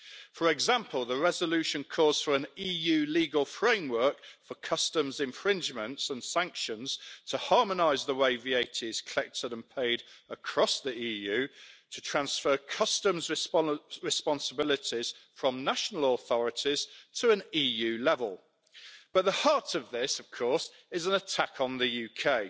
For example, the resolution calls for an EU legal framework for customs infringements and sanctions, in order to harmonise the way VAT is collected and paid across the EU and to transfer customs responsibilities from national authorities to an EU level. But at the heart of this, of course, is an attack on the UK.